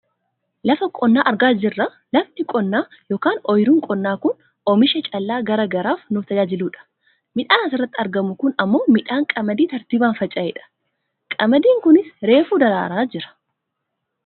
Lafa qonnaa argaa jirra. Lafni qonnaa yookaan oyiruun qonnaa kun kan oomisha callaa gara garaaf nu tajaajiludha. Midhaan asirratti argamu kun ammoo midhaan qamadii tartiibaan faca'edha. Qamadiin kunis reefu daraaraa jira.